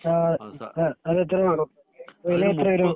അത് എത്ര വരും വില എത്ര വരും